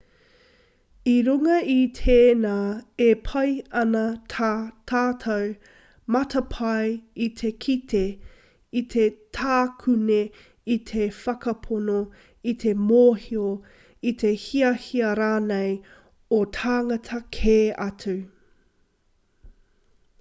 i runga i tēnā e pai ana tā tātou matapae i te kite i te takune i te whakapono i te mōhio i te hiahia rānei o tāngata kē atu